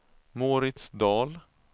Mauritz Dahl